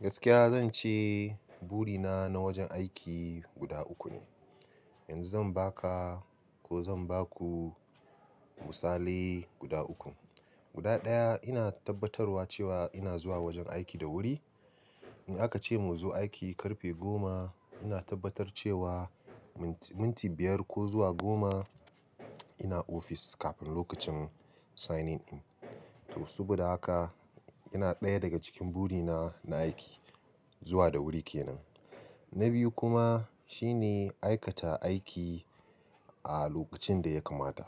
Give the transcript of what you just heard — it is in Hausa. Gaskiya zan ce buri na na wajen aiki guda uku ne. Yanzu zan baka ko zan baku misalai guda uku. Guda ɗaya ina tabbatarwa cewa ina zuwa wajen aiki da wuri. In aka ce mu zo aiki karfe goma, ina tabbatar cewa minti biyar ko zuwa goma ina ofis kafin lokacin signing in. To, saboda haka yana ɗaya daga cikin buri na na aiki zuwa da wuri ke nan. Na biyu kuma shine aikata aiki a lokacin da ya kamata.